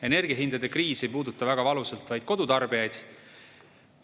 Energiahindade kriis ei puuduta väga valusalt vaid kodutarbijaid.